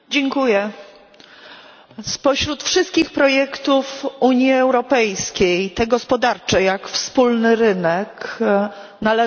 Spośród wszystkich projektów Unii Europejskiej te gospodarcze, jak wspólny rynek, należą do największych sukcesów.